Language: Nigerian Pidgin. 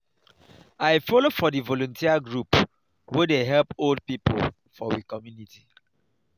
i folo for di volunteer group wey dey help old pipo for we community.